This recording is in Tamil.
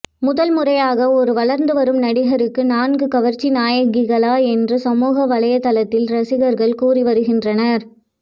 முதல் முறையாக ஒரு வளர்ந்து வரும் நடிகருக்கு நான்கு கவர்ச்சி நாயகிகளா என்று சமூகவலைத்தளத்தில் ரசிகர்கள் கூறி வருகின்றனர்